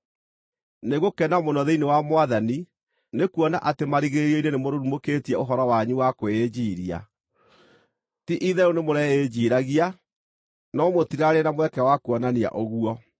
Nĩngũkena mũno thĩinĩ wa Mwathani nĩkuona atĩ marigĩrĩrio-inĩ nĩmũrurumũkĩtie ũhoro wanyu wa kwĩĩnjiiria. Ti-itherũ nĩmũreĩnjiiragia, no mũtirarĩ na mweke wa kuonania ũguo.